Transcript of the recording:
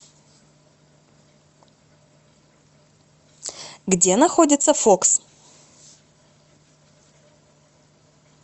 где находится фокс